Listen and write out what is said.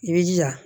I b'i jija